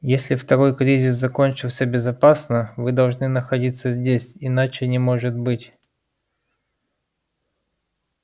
если второй кризис закончился безопасно вы должны находиться здесь иначе не может быть